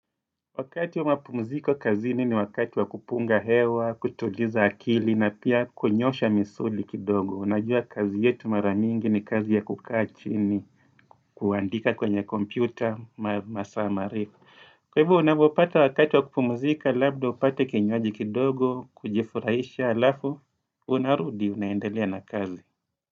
Wakati wa mapumziko kazini ni wakati wa kupunga hewa, kutuliza akili, na pia kunyoosha misuli kidogo. Unajua kazi yetu mara mingi ni kazi ya kukaa chini, kuandika kwenye kompyuta, masaa marefu. Kwa hivo, unapopata wakati wa kupumzika, labda upate kinywaji kidogo, kujifurahisha, alafu, unarudi, unaendelea na kazi.